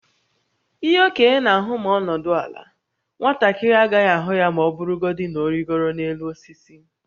Ihe okenye na-ahụ ma ọ nọdụ ala, nwatakịrị agaghị ahụ ya ma ọ bụrụgodị na ọ rịgoro n’elu osisi.